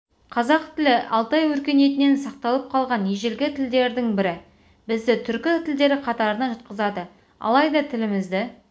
қырғыз тілі алтай өркениетінен сақталып қалған ежелгі тілдердің бірі бізді түркі тілдері қатарына жатқызады алайда тілімізді